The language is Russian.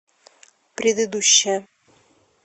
предыдущая